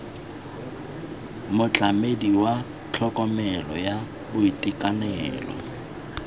motlamedi wa tlhokomelo ya boitekanelo